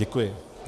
Děkuji.